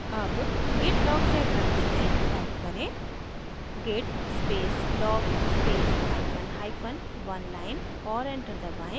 अब git log check करते हैं टाइप करें git space log space hyphen hyphen oneline और enter दबाएँ